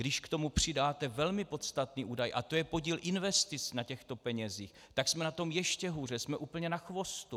Když k tomu přidáte velmi podstatný údaj, a to je podíl investic na těchto penězích, tak jsme na tom ještě hůře, jsme úplně na chvostu.